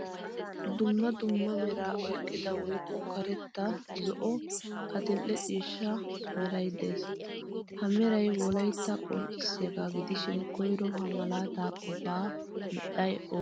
Dumma dumma mera oyqqida woykko karetta, zo'one adil'e ciishshaa meray de'ees. Ha meeray wolaytta qonccisyaga gidishin koyro ha maalaata qofa medhdhay oone?